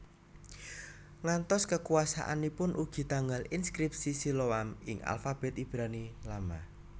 Ngantos kekuasaanipun ugi tanggal inskripsi Siloam ing alfabet Ibrani Lama